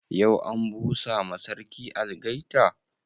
Yau an busa ma sarki algaita?